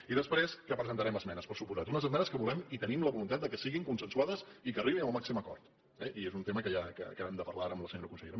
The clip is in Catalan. i després que presentarem esmenes per descomptat unes esmenes que volem i tenim la voluntat que siguin consensuades i que arribin al màxim acord eh i és un tema que acabem de parlar ara amb la senyora consellera